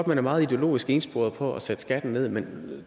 man er meget ideologisk ensporet på at sætte skatten ned men